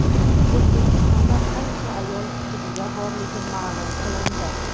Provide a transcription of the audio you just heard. O‘zbekistonda qancha ayol sudya borligi ma’lum qilindi.